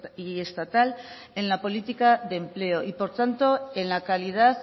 y estatal en la política de empleo y por tanto en la calidad